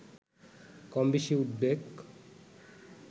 কমবেশি উদ্বেগ